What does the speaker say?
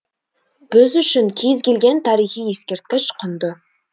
біз үшін кез келген тарихи ескерткіш құнды